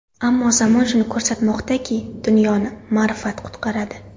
Ammo zamon shuni ko‘rsatmoqdaki, dunyoni ma’rifat qutqaradi.